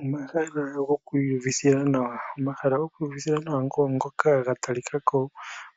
Omahala goku iyuvithila nawa, ogo ngoka ga talikako